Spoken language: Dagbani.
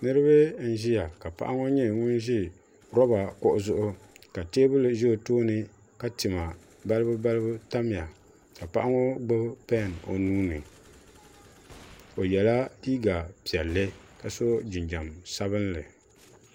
niriba n ʒɛya ka paɣ' ŋɔ nyɛ ŋɔ ʒɛ loba zuɣ ka.tɛbuli ʒɛ o tuuni la tima balibu balibu tamiya ka paɣ ŋɔ gbabi pɛn o nuuni o yɛla liga piɛli ka so jinjam sabinli